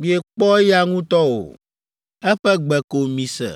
miekpɔ eya ŋutɔ o. Eƒe gbe ko mise.